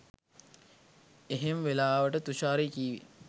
එහෙම වෙලාවට තුෂාරි කි‍ව්වෙ